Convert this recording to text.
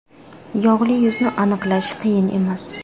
Yog‘li yuzni aniqlash qiyin emas.